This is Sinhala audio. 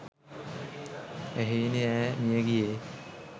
එහෙයිනි ''ඈ මියගියේ